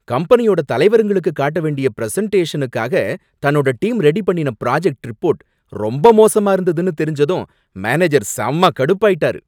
கம்பெனியோட தலைவருங்களுக்கு காட்ட வேண்டிய பிரசன்டேஷனுக்காக தன்னோட டீம் ரெடி பண்ணுன புராஜெக்ட் ரிப்போர்ட் ரொம்ப மோசமா இருந்ததுன்னு தெரிஞ்சதும் மேனேஜர் செம்ம கடுப்பாயிட்டாரு